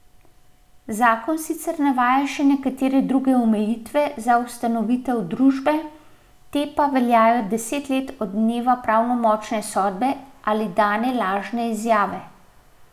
Zakon sicer navaja še nekatere druge omejitve za ustanovitev družbe, te pa veljajo deset let od dneva pravnomočne sodbe ali dane lažne izjave.